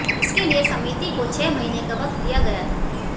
इसके लिए समिति को छह महीने का वक्त दिया गया था